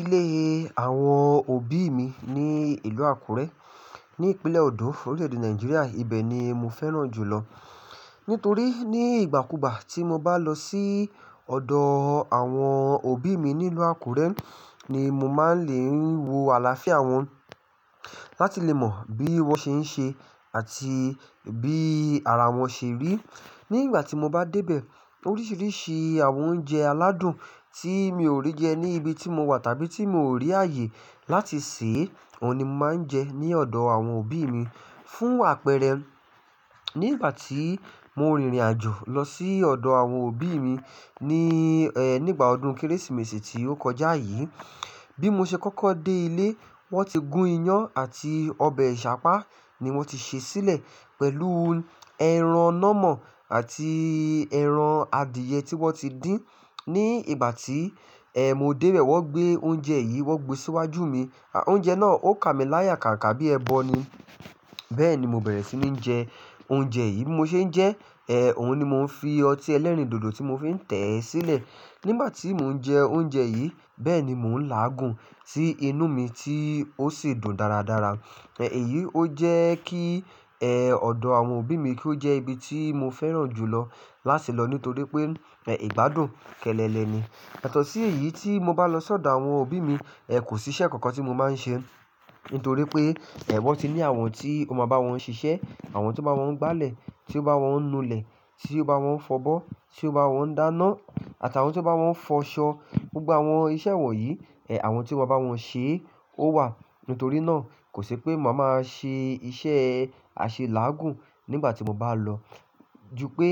Ilé àwọn òbí mi ní ìlú Àkúrẹ́ ní ìpínlẹ̀ Ọ̀dọ̀, orílẹ̀-èdè Nàìjíríà, ibẹ̀ ni mo fẹ́ràn jù lọ. Nítorí ní ìgbàkugbà tí mo bá lọ sí ọ̀dọ̀ àwọn òbí mi nílú Àkúrẹ́ ni mo máa ń lè wo àlàáfíà wọn, láti lè mọ bí wọ́n ṣe ń ṣe àti bí ara wọn ṣe rí. Ní ìgbà tí mo bá dé bẹ̀, oríṣiríṣi àwọn oúnjẹ aládùn tí mi ò rí jẹ ní ibi tí mo wà tàbí tí mi ò rí ààyè láti sè, òun ni mo máa ń jẹ ní ọ̀dọ̀ àwọn òbí mi. Fún àpẹẹrẹ, nígbà tí mo rìnrìn-àjò lọ sí ọ̀dọ̀ àwọn òbí mi ní, ẹ́, nígbà ọdún Kérésìmesì tí ó kọjá yìí, bí mo ṣe kọ́kọ́ dé ilé, wọ́n ti gún iyan àti ọbẹ̀ Ìṣàpá ni wọ́n ti sè sílẹ̀ pẹ̀lú ẹran nàmọ̀ àti ẹran adìyẹ tí wọ́n ti dín. Ní ìgbà tí, ẹ́, mo dé bẹ̀ wọ́n gbé oúnjẹ yìí, wọ́n gbe síwájú mi. Oúnjẹ náà ó ka mi láyà kàǹkà bí ẹbọ ni. Bẹ́ẹ̀ ni mo bẹ̀rẹ̀ sí ní jẹ oúnjẹ yìí. Mo ṣe ń jẹ, ẹ́, òun ni mo ń fi ọtí ẹlẹ́rìndòdò tí mo fi ń tẹ̀ sílẹ̀. Nígbà tí mò ń jẹ oúnjẹ yìí, bẹ́ẹ̀ ni mò ń láàgùn tí inú mi tí ó sì dùn dáradára. Ẹ̀ yìí ó jẹ́ kí, ẹ́, ọ̀dọ̀ àwọn òbí mi kí ó jẹ́ ibi tí mo fẹ́ràn jù lọ lásẹ́ẹ̀lọ́ nítorí pé, ẹ́, ìgbádùn kẹ́lẹ́lẹ̀ ni. Yatọ̀ sí eyí tí mo bá lọ sí ọ̀dọ̀ àwọn òbí mi, ẹ́, kò sí iṣẹ́ kankan tí mo máa ń ṣe. Ntorí pé, ẹ́, wọ́n ti ní àwọn tí o máa bá wọn ń ṣiṣẹ́, àwọn tí o bá wọn ń gbálẹ̀, tí o bá wọn ń nu ilẹ̀, tí o bá wọn ń fọbọ́, tí o bá wọn ń dáná àtàwọn tí o bá wọn ń fọṣọ. Gbogbo àwọn iṣẹ́ wọ̀n yìí, ẹ́, àwọn tí o maa bá wọn ń ṣe, ó wà. Ntorí náà, kò sé pé màá máa ṣe iṣẹ́ àṣẹ láàgùn nígbà tí mo bá lọ. Jupé,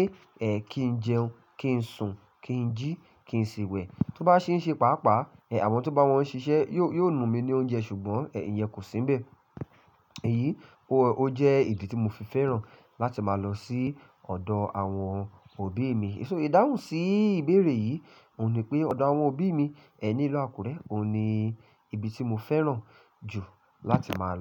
ẹ́, kí n jẹun, kí n sùn, kí n jí, kí n siwẹ̀. Tó bá ṣeṣe pàápàá, ẹ́, àwọn to bá wọn ń ṣiṣẹ́ yóò, yóò nu mi ní oúnjẹ ṣùgbọ́n ẹ́, ìyẹn kò sí nbẹ̀. Èyí, ó, ó jẹ́ ìdí tí mo fi fẹ́ràn láti máa lọ sí ọ̀dọ̀ àwọn òbí mi. So ìdáhùn sí ìbéèrè yìí òun ni pé ọ̀dọ̀ àwọn òbí mi ẹ́ nílú Àkúrẹ́ òun ni ibi tí mo fẹ́ràn jù láti máa lọ.